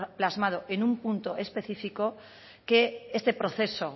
plasmado en un punto específico que este proceso